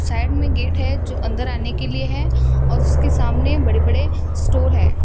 Side में gate है जो अंदर आने के लिए है और उसके सामने बड़े-बड़े स्टोर हैं।